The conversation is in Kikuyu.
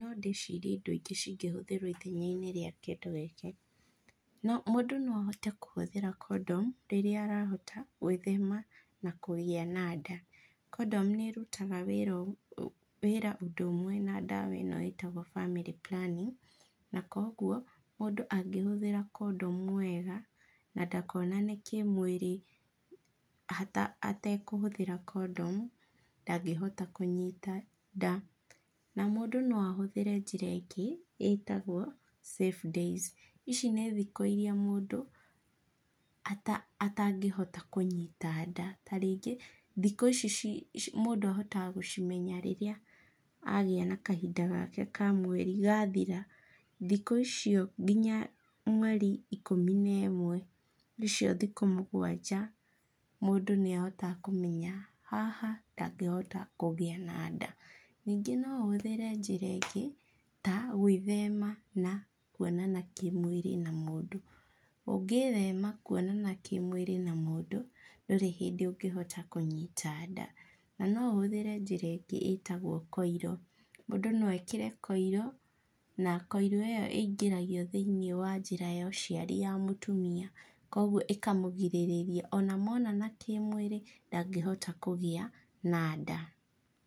No ndĩcirie ĩndo ĩngĩ cingĩhũthĩrwo ithenya-inĩ rĩa kĩndũ gĩkĩ, mũndũ no ahote kũhũthĩra condom rĩrĩa arahota gwĩthema na kũgĩa na nda. Condom nĩ ĩrutaga wĩra ũndũ ũmwe na ndawa ĩno ĩtagwo family planning na koguo mũndũ angĩhũthĩra condom wega na ndakonane kĩmwĩrĩ atekũhũthĩra condom ndangĩhota kũnyita nda. Na mũndũ no ahũthĩre njĩra ĩngĩ ĩtagwo safe days, ici nĩ thikũ ĩria mũndũ atangĩhota kũnyita nda tarĩngĩ thikũ ici mũndũ ahotaga gũcimenya rĩrĩa agĩa na kahinda gaka ka mweri gathira thikũ icio nginya mweri ĩkũmi na ĩmwe nicio thikũ mũgwanja mũndũ nĩ ahotaga kũmenya haha ndangĩhota kũgĩa na nda. Ningĩ no ũhũthĩre njĩra ĩngĩ ta gwĩthema na kuonana kĩmwĩrĩ na mũndũ, ũngĩthema kuonana kĩmwĩrĩ na mũndũ ndũrĩ hĩndĩ ũngĩhota kũnyita nda. Na no ũhũthĩre njĩra ĩngĩ ĩtagwo koiro, mũndũ no ekĩre koiro na koiro ĩyo ĩngĩragio thĩiniĩ wa njĩra ya ũciari ya mutumia koguo ĩkamũgirĩrĩria ona monana kĩmwĩrĩ ndangĩhota kũgĩa na nda.